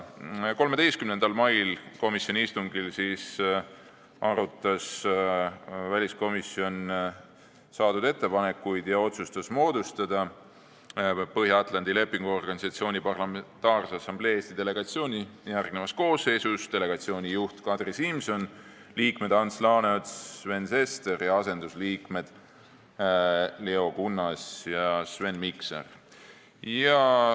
13. mail arutas väliskomisjon saadud ettepanekuid ja otsustas moodustada Põhja-Atlandi Lepingu Organisatsiooni Parlamentaarse Assamblee Eesti delegatsiooni järgmises koosseisus: delegatsiooni juht Kadri Simson, liikmed Ants Laaneots ja Sven Sester ning asendusliikmed Leo Kunnas ja Sven Mikser.